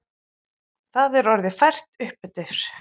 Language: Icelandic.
Það er orðið fært uppeftir.